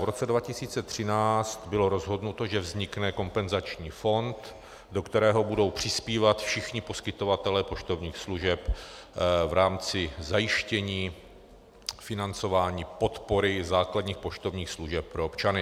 V roce 2013 bylo rozhodnuto, že vznikne kompenzační fond, do kterého budou přispívat všichni poskytovatelé poštovních služeb v rámci zajištění financování podpory základních poštovních služeb pro občany.